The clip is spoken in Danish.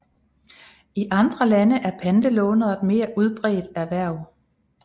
I andre lande er pantelånere et mere udbredt erhverv